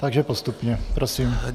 Takže postupně Prosím.